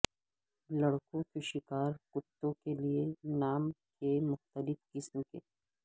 لڑکوں کے شکار کتوں کے لئے نام کے مختلف قسم کے